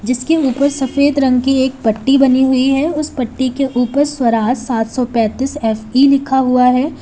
जिसके ऊपर सफेद रंग की एक पट्टी बनी हुई है उस पट्टी के ऊपर स्वराज सात सौ पैंतीस एफ_ई लिखा हुआ है।